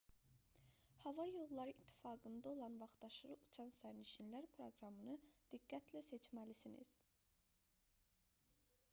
hava yolları i̇ttifaqında olan vaxtaşırı uçan sərnişinlər proqramını diqqətli seçməlisiniz